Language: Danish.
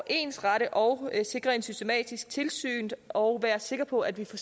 ensrette og sikre et systematisk tilsyn og være sikker på at vi får